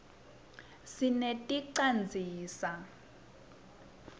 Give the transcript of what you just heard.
sineti canzisa